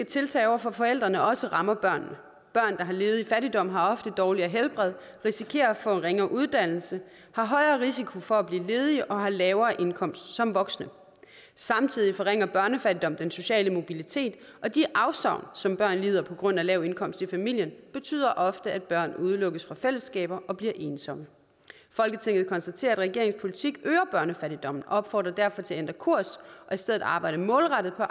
tiltag over for forældrene også rammer børnene børn der har levet i fattigdom har ofte dårligere helbred risikerer at få ringere uddannelse har højere risiko for at blive ledige og har lavere indkomst som voksne samtidig forringer børnefattigdom den sociale mobilitet og de afsavn som børn lider på grund af lav indkomst i familien betyder ofte at børn udelukkes fra fællesskaber og bliver ensomme folketinget konstaterer at regeringens politik øger børnefattigdommen og opfordrer derfor til at ændre kurs og i stedet arbejde målrettet på